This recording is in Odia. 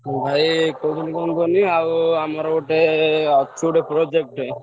ଭାଇ କହୁଥିଲି କଣ କୁହନି ଆଉ ଆମର ଗୋଟେ ଅଛି ଗୋଟେ project ଟେ।